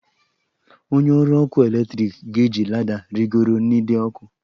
Onye ọrụ ọkụ eletrik ga-eji lada rịgoro n'ide ọkụ.